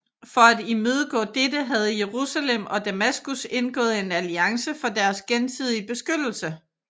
For at imødegå dette havde Jerusalem og Damaskus indgået en alliance for deres gensidige beskyttelse